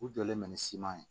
U jɔlen bɛ ni siman ye